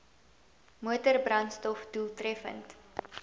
motor brandstof doeltreffend